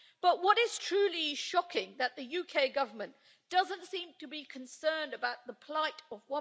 But what is truly shocking is that the UK Government doesn't seem to be as concerned about the plight of